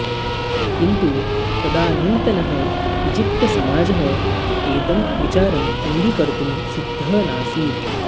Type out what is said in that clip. किन्तु तदानीन्तनः ईजिप्तसमाजः एतं विचारम् अङ्गीकर्तुं सिद्धः नासीत्